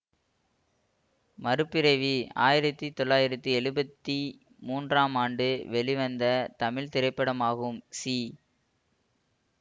மறுபிறவி ஆயிரத்தி தொளாயிரத்தி எழுபத்தி மூன்றாம் ஆண்டு வெளிவந்த தமிழ் திரைப்படமாகும் சி